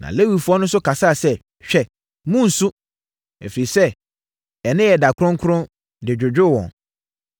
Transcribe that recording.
Na Lewifoɔ no nso kasaa sɛ, “Hwɛ! Monnsu. Ɛfiri sɛ, ɛnnɛ yɛ ɛda kronkron” de dwodwoo wɔn.